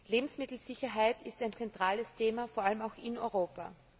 Lebensmittelsicherheit ist ein zentrales Thema, vor allem auch in Europa.